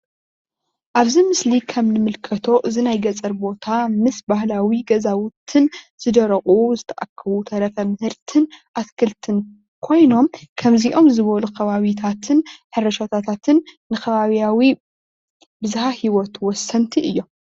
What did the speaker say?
ኣብዚ ምስሊ ኸም እንምልከቶ እዛ ናይ ገፀር ቦታ ምስ ባህላዊ ገዛውትን ዝደረቁ ዝተኣከቡ ተረፈ ምህርትን ኣትክልትን ኾይኖም ኸምዚኦም ዝበሉ ኸባቢታትን ሕርሻታትን ንኸባቢዊ ብዝሃ ሂወት ወሰንቲ እዪሞ።